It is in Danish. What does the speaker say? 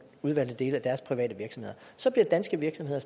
udvalgte dele af deres private virksomheder så ville danske virksomheder